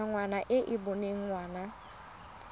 ngwana e e boneng ngwana